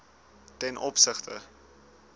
ten opsigte